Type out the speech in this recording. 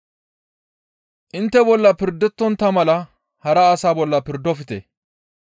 «Intte bolla pirdettontta mala hara asa bolla pirdofte.